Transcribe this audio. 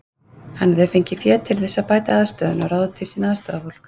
Hann hafði fengið fé til þess að bæta aðstöðuna og ráða til sín aðstoðarfólk.